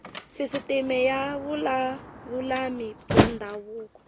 sisiteme ya vululami bya ndhavuko